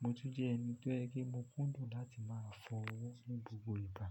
mo ti jẹ́ ẹni tó yẹ kí mo kúndùn láti máa fọ ọwọ́ ní gbogbo ìgbà.